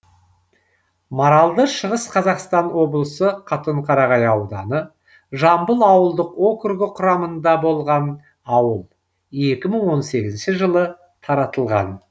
маралды шығыс қазақстан облысы катонқарағай ауданы жамбыл ауылдық округі құрамында болған ауыл екі мың он сегізінші жылы таратылған